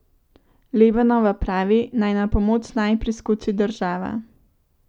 Lebanova pravi, naj na pomoč naj priskoči država.